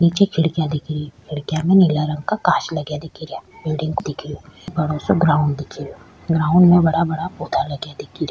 नीचे खिड़किया दिखरी खिड़किया में नीला रंग का कांच लगा दिखरिया बिल्डिंग दिखरी बड़ो सा ग्राउंड दिखेरयो ग्राउंड में बड़ा बड़ा पौधा लगया दिखेरिया।